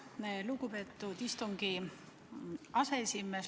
Aitäh, lugupeetud aseesimees!